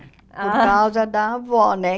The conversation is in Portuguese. Ah. Por causa da avó, né?